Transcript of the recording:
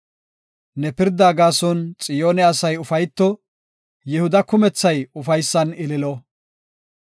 Ne pirdaa gaason Xiyoone asay ufayto; Yihuda kumethay ufaysan ililo.